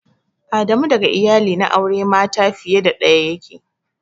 Adamu daga iyali na aure mata fiye da daya yake.